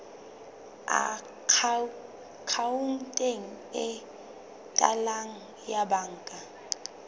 akhaonteng e latelang ya banka